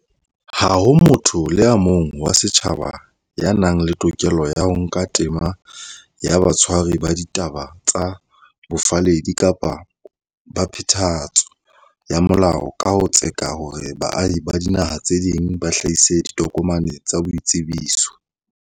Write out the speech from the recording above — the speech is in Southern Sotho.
Ha ho motho le a mong wa setjhaba ya nang le tokelo ya ho nka tema ya batshwari ba ditaba tsa bofalledi kapa ba phethahatso ya molao ka ho tseka hore baahi ba dinaha tse ding ba hlahise ditokomane tsa boitsebiso.